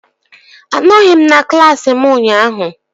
Anọghị m na klaasị m ụnyaahụ